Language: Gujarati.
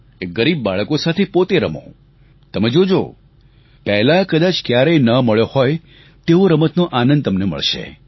એ ગરીબ બાળકો સાથે પોતે રમો તમે જોજો પહેલાં કદાચ ક્યારેય ના મળ્યો હોય તેવો રમતનો આનંદ તમને મળશે